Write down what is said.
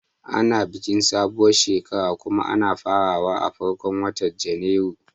Ana bikin sabon shekara kuma ana farawa a farkon watan Janairu